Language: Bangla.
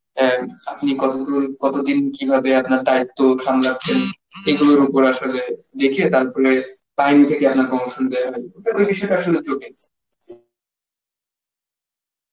অ্যাঁ আপনি কত দূর, কতদিন, কিভাবে আপনার দায়িত্ব সামলাচ্ছেন এইগুলোর উপর আসলে দেখিয়ে তারপরে time থেকে আপনার promotion দেওয়া হয়. কিছুটা আসলে